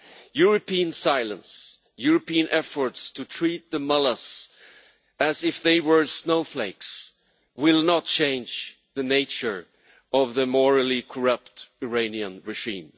European silence, European efforts to treat the mullahs as if they were snowflakes, will not change the nature of the morally corrupt Iranian machine.